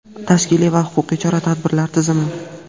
tashkiliy va huquqiy chora-tadbirlar tizimi.